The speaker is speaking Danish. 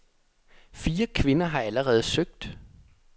Fire kvinder har allerede søgt.